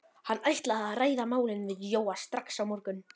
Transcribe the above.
Hann ætlaði að ræða málin við Jóa strax á morgun.